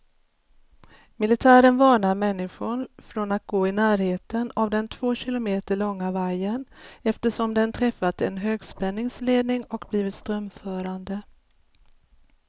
Militären varnar människor från att gå i närheten av den två kilometer långa vajern, eftersom den träffat en högspänningsledning och blivit strömförande.